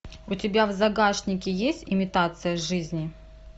у тебя в загашнике есть имитация жизни